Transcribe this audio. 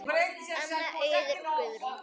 Anna, Auður og Guðrún.